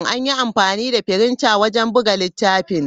An yi amfani da firinta wajen buga littafin.